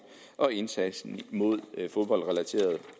og indsatsen mod fodboldrelaterede